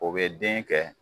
O bɛ den kɛ